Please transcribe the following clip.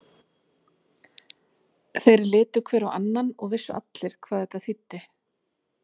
Þeir litu hver á annan og vissu allir hvað þetta þýddi.